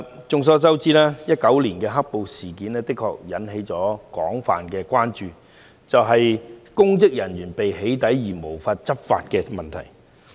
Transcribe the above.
眾所周知 ，2019 年"黑暴"事件引起的一項廣泛關注，是公職人員被"起底"而無法執法的問題。